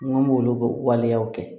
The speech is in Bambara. N go m'olu waleyaw kɛ